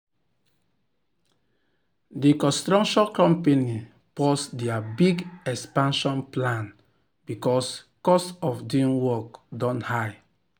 the construction company pause their big expansion plan because cost of doing work don high.